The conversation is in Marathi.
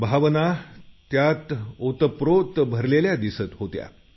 भावना त्यांच्यात ओतप्रोत भरलेल्या दिसत होत्या